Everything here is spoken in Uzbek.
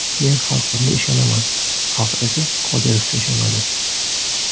Men xalqimga ishonaman, xalq esa Qodirovga ishonadi.